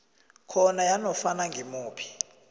khona yanofana ngimuphi